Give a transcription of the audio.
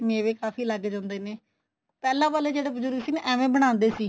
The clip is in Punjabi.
ਮੇਵੇ ਕਾਫੀ ਲੱਗ ਜਾਂਦੇ ਨੇ ਪਹਿਲਾਂ ਵਾਲੇ ਜਿਹੜੇ ਬਜੁਰਗ ਸੀ ਨਾ ਏਵੈ ਬਣਾਂਦੇ ਸੀ